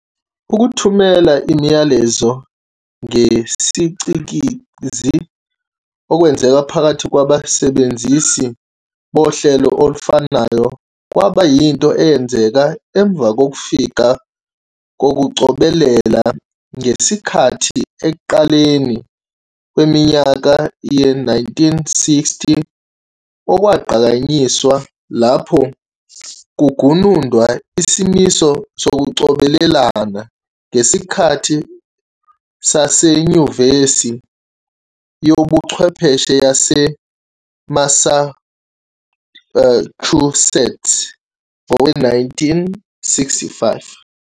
Ukuthumela imiyalezo ngesicikizi okwenzeka phakathi kwabasebenzisi bohlelo olufanayo kwaba yinto eyenzeka emva kokufika kokucobelela-ngesikhathi ekuqaleni kweminyaka ye-1960, okwagqanyiswa lapho kugunundwa isimiso sokucobelelana ngesikhathi saseNyuvesi yobuChwepheshe yase-Massachusetts ngowe-1965.